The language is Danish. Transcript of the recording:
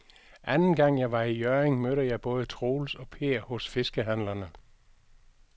Anden gang jeg var i Hjørring, mødte jeg både Troels og Per hos fiskehandlerne.